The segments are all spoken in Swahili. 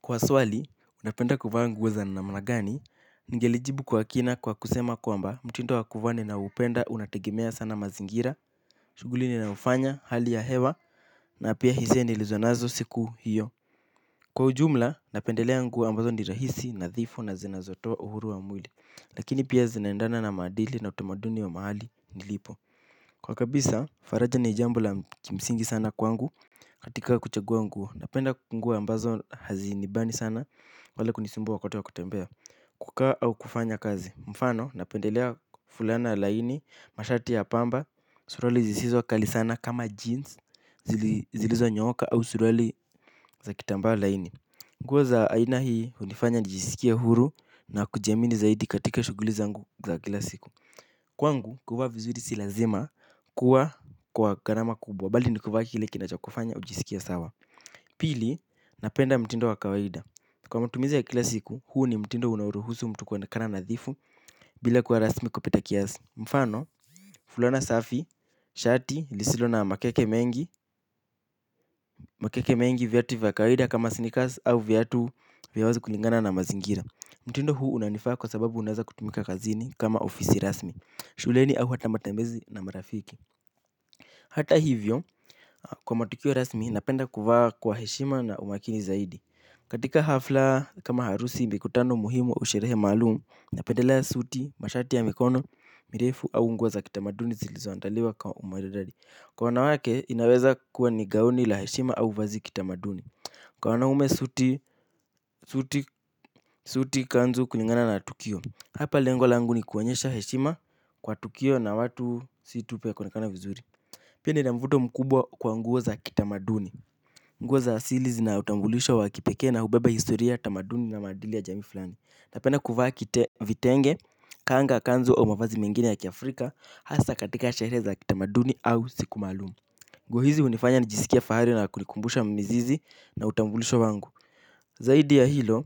Kwa swali, napenda kuvaa nguo za namna gani, ningelijibu kwa kina kwa kusema kwamba, mtindo wa kuvaa ninaoupenda, unategemea sana mazingira, shughuli ninayofanya, hali ya hewa, na pia hisia nilizo nazo siku hiyo. Kwa ujumla, napendelea nguo ambazo ni rahisi, nadhifu na zinazotoa uhuru wa mwili, lakini pia zinaendana na maadili na utamaduni wa mahali nilipo. Kwa kabisa, faraja ni jambo la kimsingi sana kwangu. Katika kuchagua nguo, napenda nguo ambazo hazinibani sana. Wala kunisumbua wakati wa kutembea kukaa au kufanya kazi. Mfano, napendelea fulana laini, mashati ya pamba. Suruali zisizokali sana kama jeans, zili, ziliizonyooka au suruali za kitambaa laini. Nguo za aina hii, hunifanya nijisikie huru na kujiamini zaidi katika shughuli zangu za kila siku. Kwangu, kuvaa vizuri si lazima kuwa kwa gharama kubwa bali ni kuvaa kile kinachokufanya ujisikie sawa pili napenda mtindo wa kawaida kwa matumizi ya kila siku huu ni mtindo unaoruhusu mtu kuonekana nadhifu bila kuwa rasmi kupita kiasi mfano fulana safi shati lisilo na makeke mengi makeke mengi viatu vya kawaida kama sneakers au viatu vya wazi kulingana na mazingira mtindo huu unanifaa kwa sababu unaeza kutumika kazini kama ofisi rasmi shuleni au hata matembezi na marafiki hata hivyo. Kwa matukio rasmi napenda kuvaa kwa heshima na umakini zaidi. Katika hafla kama harusi mikutano muhimu au sherehe maalum napendelea suti, mashati ya mikono, mirefu au nguo za kitamaduni zilizoandaliwa kwa umaridadi. Kwa wanawake inaweza kuwa ni gaoni la heshima au vazi kitamaduni. Kwa wanaume suti, suti, suti kanzu kulingana na tukio. Hapa lengo langu ni kuonyesha heshima kwa tukio na watu si tu pia kuonekana vizuri. Pia nina mvuto mkubwa kwa nguo za kitamaduni. Nguo za asili zina utambulisho wa kipekee na hubeba historia, tamaduni na maadili ya jamii fulani. Napenda kuvaa kite vitenge, kanga kanzu au mavazi mengine ya kiafrika hasa katika sherehe za kitamaduni au siku maalum. Nguo hizi hunifanya nijisikie fahari na kunikumbusha mizizi na utambulisho wangu. Zaidi ya hilo,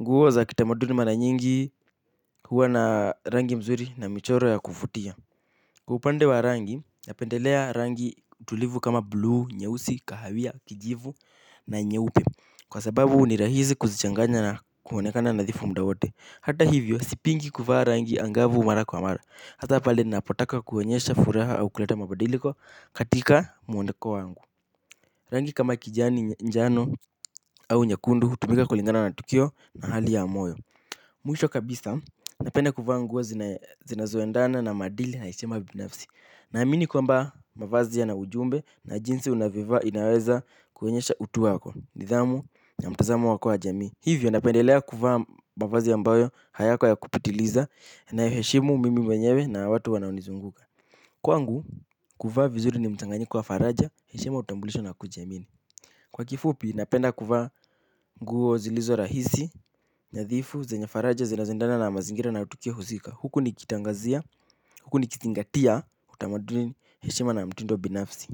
nguo za kitamaduni mara nyingi huwa na rangi mzuri na michoro ya kuvutia. Kwa upande wa rangi, napendelea rangi tulivu kama bluu, nyeusi, kahawia, kijivu na nyeupe kwa sababu ni rahisi kuzichanganya na kuonekana nadhifu muda wote. Hata hivyo, sipingi kuvaa rangi angavu mara kwa mara hata pale ninapotaka kuonyesha furaha au kuleta mabadiliko katika muoneko wangu. Rangi kama kijani njano au nyekundu, hutumika kulingana na tukio na hali ya moyo. Mwisho kabisa, napende kuvaa nguo zinae, zinazoendana na maadili na heshima binafsi. Naamini kwamba mavazi yana ujumbe na jinsi unavyoivaa inaweza kuonyesha utu wako, nidhamu na mtazamo wako wa jamii. Hivyo napendelea kuvaa mavazi ambayo hayako ya kupitiliza inayoheshimu mimi mwenyewe na watu wanaonizunguka. Kwangu, kuvaa vizuri ni mchanganyiko wa faraja, heshima utambulisho na kujiamini. Kwa kifupi, napenda kuvaa nguo zilizo rahisi, nadhifu, zenye faraja, zinazoendana na mazingira na tukio husika. Huku nikitangazia, huku nikizingatia, utamaduni heshima na mtindo binafsi.